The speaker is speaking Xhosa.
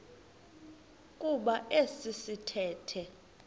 kuba esi sithethe